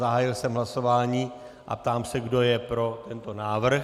Zahájil jsem hlasování a ptám se, kdo je pro tento návrh.